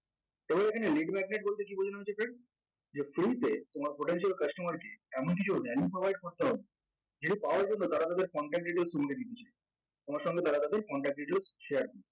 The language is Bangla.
এবং এখানে lead magnet বলতে কী বোঝানো হয়েছে friend যে free তে তোমার potential customer কে এমন কিছু manipulate করতে হবে সেটা পাওয়ার জন্য তারা তাদের contact details শুনবে কিছু তোমার সঙ্গে তারা তাদের contact details share করবে